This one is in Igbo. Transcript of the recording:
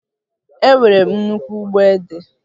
Enwere m nnukwu ugbo ede